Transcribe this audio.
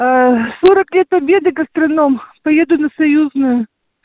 сорок лет победы гастроном поеду на союзную